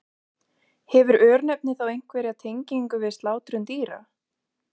Hefur örnefnið þá einhverja tengingu við slátrun dýra?